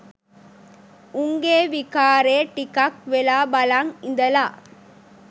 උන්ගේ විකාරේ ටිකක් වෙලා බලන් ඉඳලා